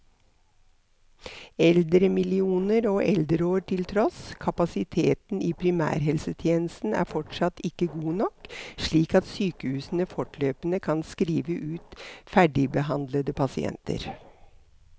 Eldremillioner og eldreår til tross, kapasiteten i primærhelsetjenesten er fortsatt ikke god nok, slik at sykehusene fortløpende kan skrive ut ferdigbehandlede pasienter.